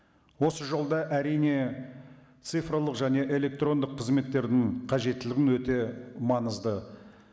осы жолда әрине цифрлық және электрондық қызметтерінің қажеттілігі өте маңызды